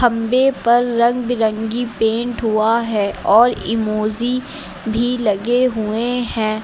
पर रंग बिरंगी पेंट हुआ है और इमोजी भी लगे हुए हैं।